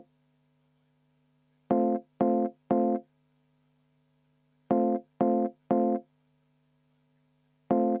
Aitäh!